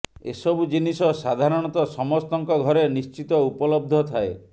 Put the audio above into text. ଏସବୁ ଜିନିଷ ସାଧାରଣତଃ ସମସ୍ତଙ୍କ ଘରେ ନିଶ୍ଚିତ ଉପଲବ୍ଧ ଥାଏ